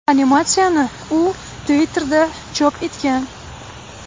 Animatsiyani, u Twitter’da chop etgan.